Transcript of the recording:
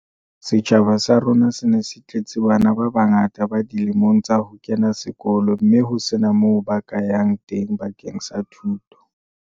"Setjhaba sa rona se ne se tletse bana ba bangata ba dilemong tsa ho kena sekolo mme ho sena moo ba ka yang teng bakeng sa thuto."